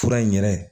Fura in yɛrɛ